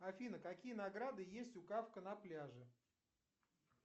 афина какие награды есть у кафка на пляже